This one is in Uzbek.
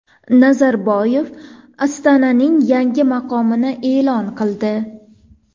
Nazarboyev Ostonaning yangi maqomini e’lon qildi.